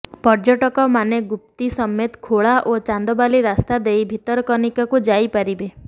ପର୍ଯ୍ୟଟକମାନେ ଗୁପ୍ତି ସମେତ ଖୋଳା ଓ ଚାନ୍ଦବାଲି ରାସ୍ତା ଦେଇ ଭିତରକନିକାକୁ ଯାଇପାରିବେ